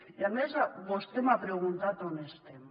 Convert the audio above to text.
i a més vostè m’ha preguntat on estem